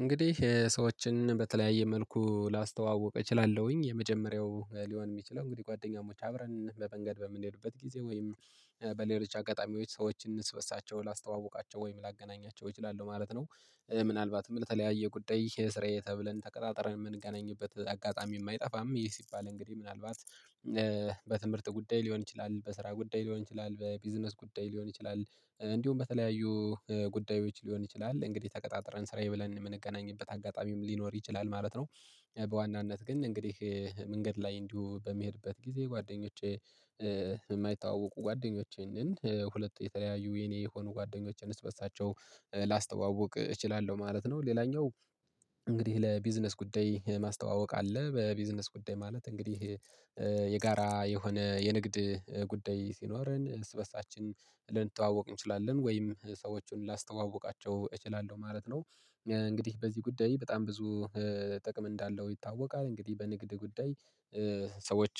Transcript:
እንግዲህ ሰዎችን በተለያየ መልኩ ላስተዋውቅ እችላለሁኝ የመጀመሪያው ሊሆን የሚችለው እንግዲህ ጓደኛሞች አብረን በመንገድ በምንሄዱበት ጊዜ ወይም በሌሎች አጋጣሚዎች ሰዎችን እረስበርሳቸው ላስተዋውቃቸው ወይም ላገናኛቸው ይችላሉ ማለት ነው። ምናልባትም ለተለያየ ጉዳይ የስራዬ ተብለን ተቀጣጥረን የምንገናኝበት አጋጣሚ የማይጠፋም ይህ ሲባል እንግዲህ ምናልባት። በትምህርት ጉዳይ ሊሆን ይችላል በስራ ጉዳይ ሊሆን ይችላል በቢዝነስ ጉዳይ ሊሆን ይችላል እንዲሁም በተለያዩ ጉዳዮች ሊሆን ይችላል እንግዲህ ተቀጣጥረን ስራዬ ብለን የምንገናኝበት አጋጣሚም ሊኖር ይችላል ማለት ነው። በዋናነት ግን እንግዲህ መንገድ ላይ እንዲሁ በሚሄድበት ጊዜ ጓደኞቼ የማይታወቁ ጓደኞቼን ሁለት የተለያዩ የኔ የሆኑ ጓደኞቼን እርስበርሳቸው ላስተዋውቅ እችላለሁ ማለት ነው። ሌላኛው። እንግዲህ ለቢዝነስ ጉዳይ ማስተዋወቅ አለ በቢዝነስ ጉዳይ ማለት እንግዲህ የጋራ የሆነ የንግድ ጉዳይ ሲኖረን እርስበርሳችን ልንተዋወቅ እንችላለን ወይም ሰዎችን ላስተዋውቃቸው እችላለሁ ማለት ነው። እንግዲህ በዚህ ጉዳይ በጣም ብዙ ጥቅም እንዳለው ይታወቃል። እንግዲህ በንግድ ጉዳይ። ሰዎች